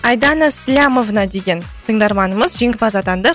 айдана слямовна деген тыңдарманымыз жеңімпаз атанды